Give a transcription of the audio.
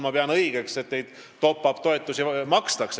Ma pean õigeks, et tänane valitsus top-up-toetusi maksab.